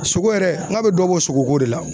Sogo yɛrɛ n ka bɛ dɔ bɔ sogoko de la.